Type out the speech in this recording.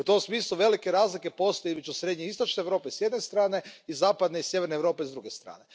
U tom smislu, velike razlike postoje između srednje i istočne Europe s jedne strane i zapadne i sjeverne Europe s druge strane.